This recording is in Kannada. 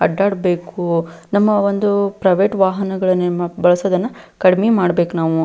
ಅಡ್ಡಾಡಬೇಕು ನಮ್ಮಒಂದು ಪ್ರೈವೇಟ್ ವಾಹನಗಳನ್ನು ಬಳಸುವುದನ್ನು ಕಡಿಮೆ ಮಾಡಬೇಕು ನಾವು.